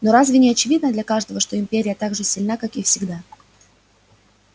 но разве не очевидно для каждого что империя так же сильна как и всегда